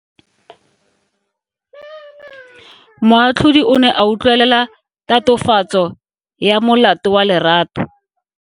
Moatlhodi o ne a utlwelela tatofatso ya molato wa Lerato.